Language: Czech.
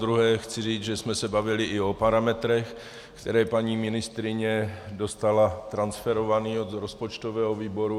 Zadruhé chci říct, že jsme se bavili i o parametrech, které paní ministryně dostala transferované od rozpočtového výboru.